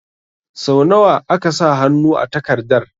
Sau nawa aka sa hannu a takardar?